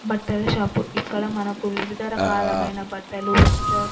బట్టల షాపు ఇక్కడ మనకు వివిధ రకాలమైన బట్టలు వెస్ట్రన్ --